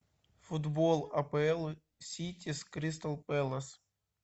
футбол апл сити с кристал пэлас